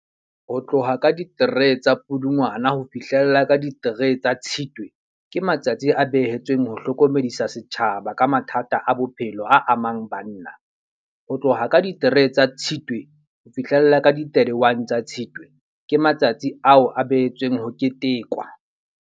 Ho tloha ka di-three tsa Pudungwana, ho fihlella ka di-three tsa Tshitwe. Ke matsatsi a behetsweng ho hlokomedisa setjhaba ka mathata a bophelo a amang banna. Ho tloha ka di-three tsa Tshitwe, ho fihlella ka di-thirty-one tsa Tshitwe. Ke matsatsi ao a behetsweng ho ketekwa.